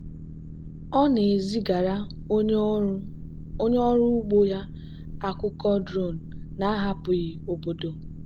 ọ na-ezigara onye ọrụ ugbo ya akụkọ drone na-ahapụghị obodo.